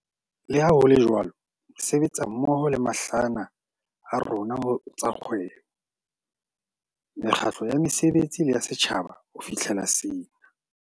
Leha ho le jwalo, re sebetsa mmoho le mahlahana a rona ho tsa kgwebo, mekgatlo ya basebetsi le ya setjhaba ho fihlela sena.